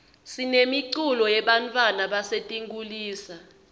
sinemiculo yebantfwana basetinkulisa